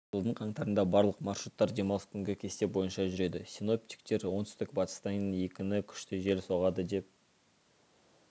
жылдың қаңтарында барлық маршруттар демалыс күнгі кесте бойынша жүреді синоптиктер оңтүстік-батыстан екіні күшті жел соғады деп